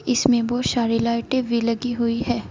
इसमें बहुत सारी लाइटें भी लगी हुई है।